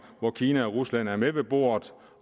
hvor kina og rusland er med ved bordet